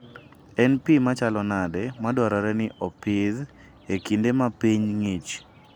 En pi machalo nade madwarore ni opidh e kinde ma piny ng'ich?